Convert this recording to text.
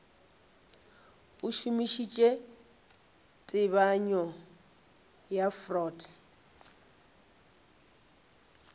a šomišitše tebanyo ya freud